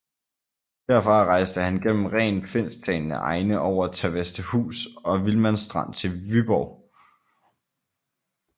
Derfra rejste han gennem rent finsktalende egne over Tavastehus og Vilmanstrand til Vyborg